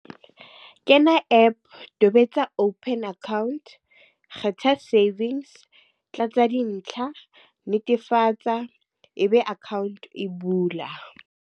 Kena app, tobetsa open account. Kgetha savings, tlatsa dintlha, netefatsa e be account e bula.